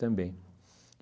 Também.